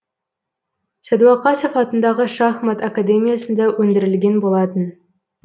сәдуақасов атындағы шахмат академиясында өндірілген болатын